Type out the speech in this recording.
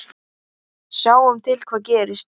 Sjáum til hvað gerist.